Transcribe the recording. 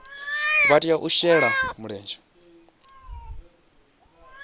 vha tea u shela mulenzhe